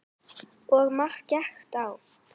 Og margt gekk á.